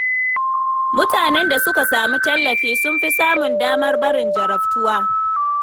Mutanen da suka samu tallafi sun fi samun damar barin jarabtuwa.